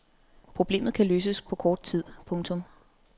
Problemet kan løses på kort tid. punktum